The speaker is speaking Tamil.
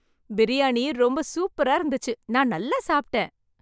பிரியாணி ரொம்ப சூப்பரா இருந்துச்சு. நான் நல்லா சாப்பிட்டேன்.